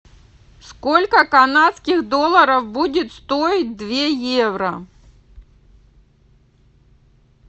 сколько канадских долларов будет стоить две евро